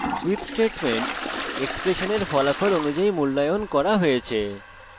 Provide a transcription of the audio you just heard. switch statement এক্সপ্রেশনের ফলাফল অনুযায়ী মূল্যায়ন করা হয়েছে